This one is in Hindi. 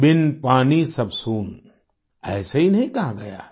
बिन पानी सब सून ऐसे ही नहीं कहा गया है